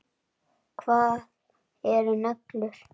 Hvað eru neglur?